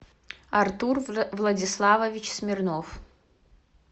артур владиславович смирнов